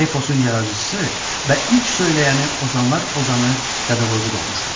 Eposun yaradıcısı və ilk söyləyəni ozanlar ozanı Dədə Qorqud olmuşdur.